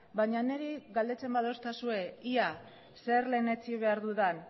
baina niri galdetzen badidazue ia zer lehenetsi behar dudan